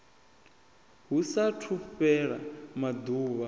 hu sa athu fhela maḓuvha